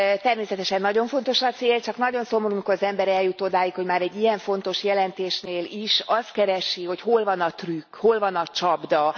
Természetesen nagyon fontos a cél, csak nagyon szomorú, amikor az ember eljut odáig, hogy már egy ilyen fontos jelentésnél is azt keresi, hogy hol van a trükk, hol van a csapda.